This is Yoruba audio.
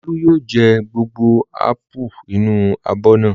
Olú yóò jẹ gbogbo ápù inú abọ́ náà.